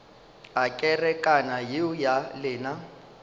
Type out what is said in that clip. a kerekana yeo ya lena